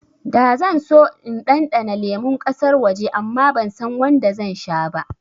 Da zan so in ɗanɗana lemun ƙasar waje amma bansan wanda zan sha ba